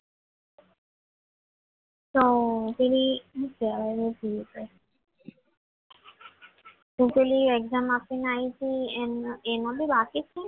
તો પેલી શું કહેવાય તો પેલી એક્ઝામ આપીને એમાં બી બાકી છે